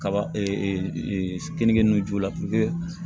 Kaba kenige nun jula